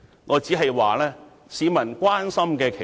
我只是說，這才是市民所關心的事。